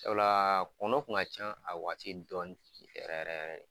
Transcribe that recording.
Sabula kɔnɔ kun ka ca a waati dɔɔnin yɛrɛ yɛrɛ